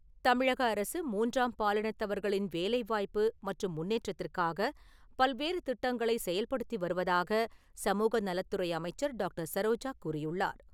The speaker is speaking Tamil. தமிழக அரசு மூன்றாம் பாலினத்தவர்களின் வேலைவாய்ப்பு மற்றும் முன்னேற்றத்திற்காக பல்வேறு திட்டங்களை செயல்படுத்தி வருவதாக சமூக நலத்துறை அமைச்சர் டாக்டர் சரோஜா கூறியுள்ளார்.